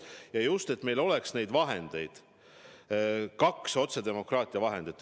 Ja just, et meil oleks kaks otsedemokraatia vahendit.